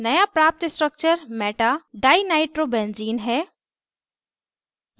नया प्राप्त structure metadinitrobenzene है